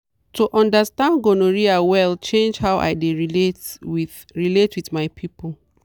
to understand gonorrhea well change how i dey relate with relate with my people.